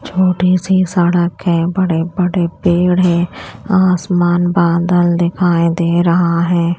छोटी सी सड़क है बड़े बड़े पेड़ है आसमान बादल दिखाई दे रहा है।